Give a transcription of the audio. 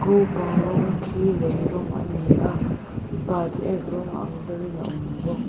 bang rawng khi lei rawng a ni a patek rawng ang deuh in a awm bawk.